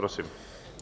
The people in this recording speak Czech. Prosím.